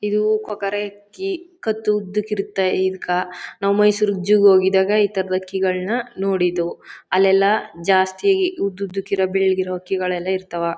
ಕೊಕ್ಕರೆ ಹಕ್ಕಿ ಕತ್ತು ಉದ್ದ ಇರುತ್ತೆ ಇದಕ್ಕ ನಾವು ಮೈಸೂರಿಗೆ ಜೂ ಗೆ ಹೋಗಿದ್ದಾಗ ಈ ತರದ ಹಕ್ಕಿಗಳನ್ನ ನೋಡಿದ್ದೆವು . ಅಲ್ಲೆಲ್ಲ ಜಾಸ್ತಿ ಉದ್ದುದ್ದಕೀರೋ ಬೆಳೆದಿರೋ ಹಕ್ಕಿಗಳೆಲ್ಲ ಇರ್ತವ.